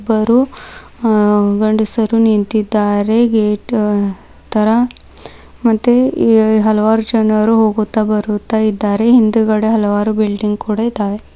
ಇಬ್ಬರು ಅ ಗಂಡಸರು ನಿಂತಿದ್ದಾರೆ ಗೇಟ್ ತರ ಮತ್ತೆ ಎ ಹಲವಾರು ಜನರು ಹೋಗುತ್ತಾ ಬರುತ್ತಾ ಇದ್ದಾರೆ ಹಿಂದಗಡೆ ಹಲವಾರು ಬಿಲ್ಡಿಂಗ್ ಕೂಡ ಇದಾವೆ.